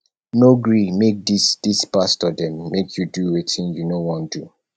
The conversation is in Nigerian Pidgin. no gree make dis dis pastor dem make you do wetin you no wan do